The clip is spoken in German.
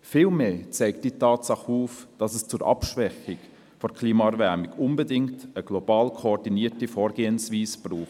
Vielmehr zeigt diese Tatsache auf, dass es zur Abschwächung der Klimaerwärmung unbedingt eine global koordinierte Vorgehensweise braucht.